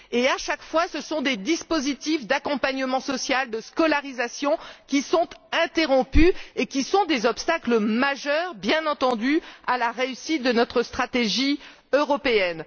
À chaque fois, ce sont des dispositifs d'accompagnement social et de scolarisation qui sont interrompus, ce qui est un obstacle majeur, bien entendu, à la réussite de notre stratégie européenne.